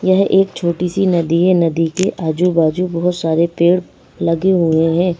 यह एक छोटी सी नदी है नदी के आजू-बाजू बहुत सारे पेड़ लगे हुए हैं।